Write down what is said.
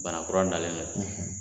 Bana kura nalen don